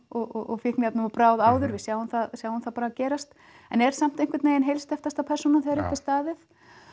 og fíkniefnum að bráð áður við sjáum það sjáum það bara gerast en er samt einhvern veginn heilsteyptasta persónan þegar upp er staðið